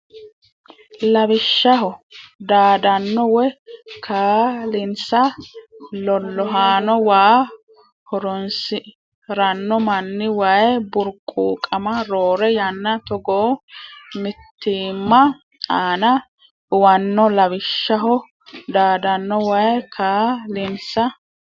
Lawishshaho daadanno woy kaa linsa lolahanno waa horoonsi ranno manni Way Burquuqama roore yanna togoo mitiimma aana uwanno Lawishshaho daadanno woy kaa linsa.